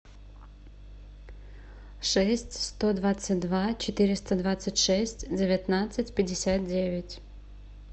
шесть сто двадцать два четыреста двадцать шесть девятнадцать пятьдесят девять